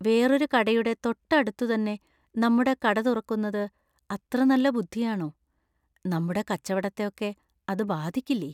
വേറൊരു കടയുടെ തൊട്ട അടുത്തുതന്നെ നമ്മുടെ കട തുറക്കുന്നത് അത്ര നല്ല ബുദ്ധിയാണോ? നമ്മുടെ കച്ചവടത്തെ ഒക്കെ അത് ബാധിക്കില്ലേ?